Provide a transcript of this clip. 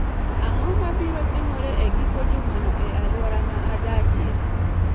Ang�o ma biro timore e giko jumano e alwora ma adakie?